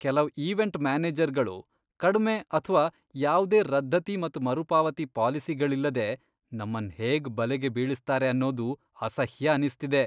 ಕೆಲವ್ ಈವೆಂಟ್ ಮ್ಯಾನೇಜರ್ಗಳು ಕಡ್ಮೆ ಅಥ್ವಾ ಯಾವ್ದೇ ರದ್ದತಿ ಮತ್ ಮರುಪಾವತಿ ಪಾಲಿಸಿಗಳಿಲ್ಲದೆ ನಮ್ಮನ್ ಹೇಗ್ ಬಲೆಗೆ ಬೀಳಿಸ್ತಾರೆ ಅನ್ನೋದು ಅಸಹ್ಯ ಅನಿಸ್ಥಿದೆ.